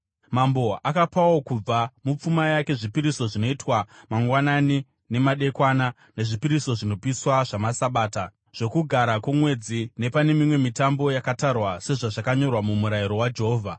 Mambo akapawo kubva mupfuma yake zvipiriso zvinoitwa mangwanani nemadekwana, nezvipiriso zvinopiswa zvamaSabata, zvoKugara kwoMwedzi napane mimwe mitambo yakatarwa sezvazvakanyorwa muMurayiro waJehovha.